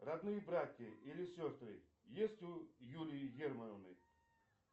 родные братья или сестры есть у юлии германовой